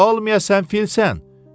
Olmaya sən filsən?